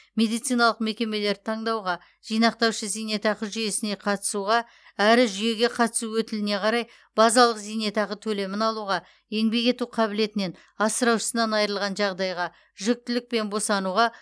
медициналық мекемелерді таңдауға жинақтаушы зейнетақы жүйесіне қатысуға әрі жүйеге қатысу өтіліне қарай базалық зейнетақы төлемін алуға еңбек ету қабілетінен асыраушысынан айырылған жағдайға жүктілік пен босануға